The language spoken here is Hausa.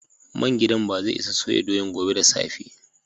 Main giɗan bazai isa soya doyan gobe da safe.